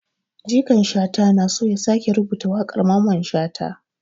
Jikan Shata na so ya sake rubuta wakar Maman shata.